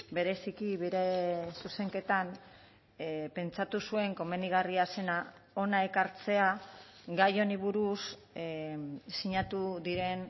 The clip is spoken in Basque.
bereziki bere zuzenketan pentsatu zuen komenigarria zena hona ekartzea gai honi buruz sinatu diren